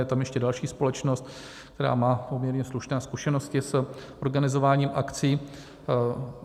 Je tam ještě další společnost, která má poměrně slušné zkušenosti s organizováním akcí.